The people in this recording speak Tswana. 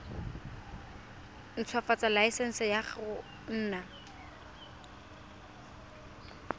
ntshwafatsa laesense ya go nna